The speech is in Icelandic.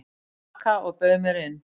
til baka og bauð mér inn.